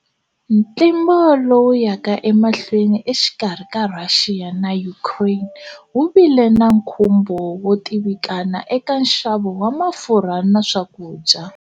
Ntlimbo lowu yaka emahlweni exikarhi ka Russia na Ukraine wu vile na nkhumbo wo tivikana eka nxavo wa mafurha na swakudya.